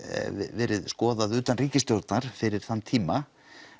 verið skoðað utan ríkisstjórnar fyrir þann tíma